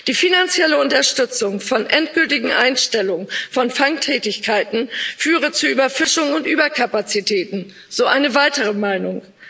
Die finanzielle Unterstützung der endgültigen Einstellung von Fangtätigkeiten führe zu Überfischung und Überkapazitäten so eine weitere Meinung.